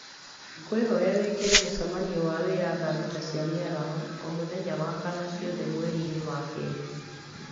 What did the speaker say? ngũkwĩhoya wĩkĩre mũcemanio wa wĩra thaa thita cia mĩaraho o mũthenya wakana ciothe mweri-inĩ wa kerĩ